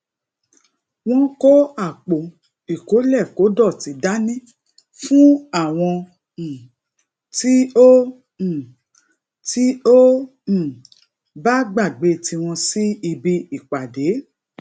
wón kó àpò ikolekodoti dàní fún àwọn um tí o um tí o um bá gbagbe tiwon si ibi ìpàdé